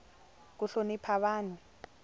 ku hlonipa vanhu